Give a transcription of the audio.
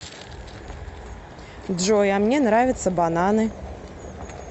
джой а мне нравятся бананы